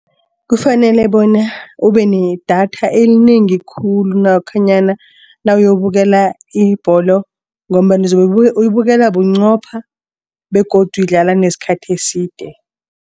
Kufanele bona ube nedatha elinengi khulu lokhanyana nawuyobukela ibholo. Ngombana uzobe uyibukela bunqopha begodu idlala nesikhathi eside.